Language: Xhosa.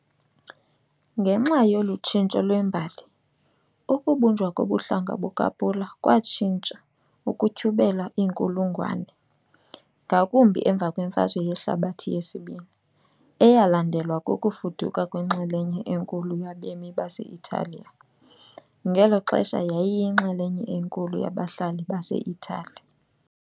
Ngenxa yolu tshintsho lwembali, ukubunjwa kobuhlanga bukaPula kwatshintsha ukutyhubela iinkulungwane, ngakumbi emva kweMfazwe Yehlabathi yesiBini, eyalandelwa kukufuduka kwenxalenye enkulu yabemi base-Italiya, ngelo xesha yayiyinxalenye enkulu yabahlali baseItali.